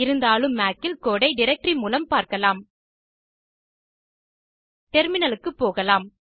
இருந்தாலும் மாக் இல் கோடு ஐ டைரக்டரி மூலம் பார்க்கலாம் டெர்மினல் க்கு போகலாம்